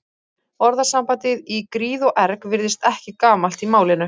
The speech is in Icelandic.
Orðasambandið í gríð og erg virðist ekki gamalt í málinu.